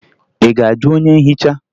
Ị ga-ajụ onye nhicha?